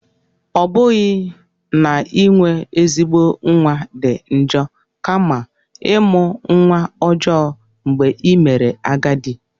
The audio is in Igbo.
Ọ bụghị na inwe ezigbo nwa dị njọ, kama ịmụ nwa ọjọọ mgbe i mere agadi.